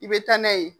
I bɛ taa n'a ye